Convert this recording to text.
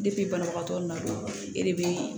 banabagatɔ nana e de bɛ